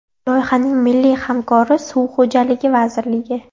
Loyihaning milliy hamkori Suv xo‘jaligi vazirligi.